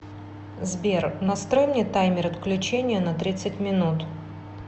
сбер настрой мне таймер отключения на тридцать минут